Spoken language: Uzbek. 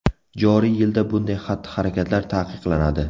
Joriy yilda bunday xatti-harakatlar taqiqlanadi.